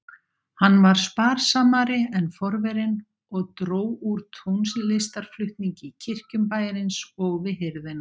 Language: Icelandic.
Hann var sparsamari en forverinn og dró úr tónlistarflutningi í kirkjum bæjarins og við hirðina.